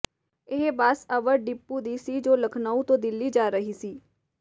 ਇਹ bus Awadh depot ਦੀ ਸੀ ਜੋ ਲਖਨਊ ਤੋਂ ਦਿੱਲੀ ਜਾ ਰਹੀ ਸੀ